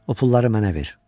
O pulları mənə ver.